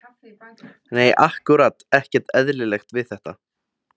Nei ákkúrat ekkert eðlilegt við þetta.